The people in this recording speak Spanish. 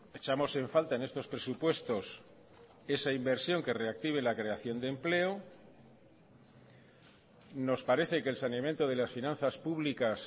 echamos en falta en estos presupuestos esa inversión que reactive la creación de empleo nos parece que el saneamiento de las finanzas públicas